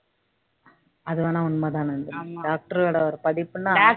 அது வேணா உண்மைதானே ஆமா doctor ஓட ஒரு படிப்புன்னா